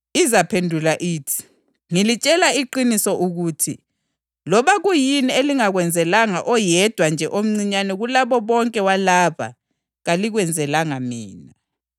Labo bazaphendula bathi, ‘Nkosi, sakubona nini ulambile kumbe womile kumbe uyisihambi kumbe ungelazigqoko kumbe ugula noma usentolongweni asaze sakunceda na?’